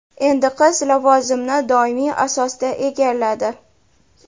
Endi qiz lavozimni doimiy asosda egalladi.